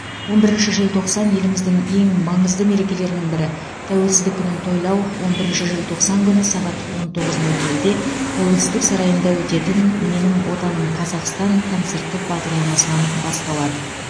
он бірінші желтоқсан еліміздің ең маңызды мерекелерінің бірі тәуелсіздік күнін тойлау он бірінші желтоқсан күні сағат он тоғыз нөл нөлде тәуелсіздік сарайында өтетін менің отаным қазақстан концерттік бағдарламасынан басталады